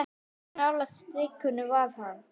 Hversu nálægt strikinu var hann?